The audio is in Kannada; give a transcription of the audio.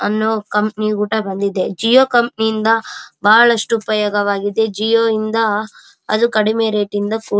ಅನ್ನು ಕಂಪನಿ ಊಟ ಬಂದಿದೆ ಜಿಯೋ ಕಂಪನಿಯಿಂದ ಬಹಳಷ್ಟು ಉಪಯೋಗವಾಗಿದೆ ಜಿಯೋ ಯಿಂದ ಅದು ಕಡಿಮೆ ರೇಟ್ ಇಂದ ಫುಡ್ --